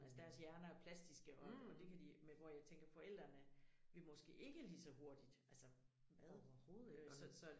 Altså deres hjerner er jo plastiske og og det kan de men hvor jeg tænker forældrene vil måske ikke lige så hurtigt altså hvad øh så så